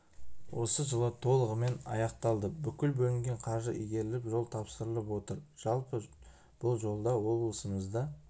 осы жылы толығымен аяқталды бүкіл бөлінген қаржы игеріліп жол тапсылырып отыр жалпы бұл жолда облысымзда